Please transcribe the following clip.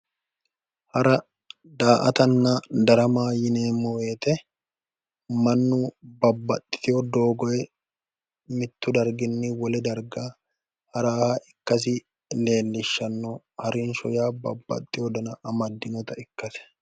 Hara daramanna daa"ata yineemmo woyite mannu babbaxxiteyo doogoyi mittu darginni wole darga haraha ikkasi leellishshanno. Harinsho yaa babbaxxeyo dana amaddinota ikkase.